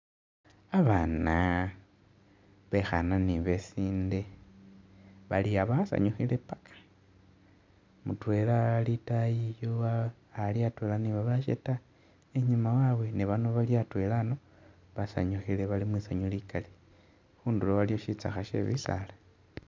Babaana bekhaana ni besinde bali aa' basanyukhile paka mutwela ali i'taayi yo ali atwela ni babasho ta, i'nyuma wabwe, ni bano bali atwela a'ano basanyukhile bali mwisanyu likali khundulo waliwo shitsakha she'bisaala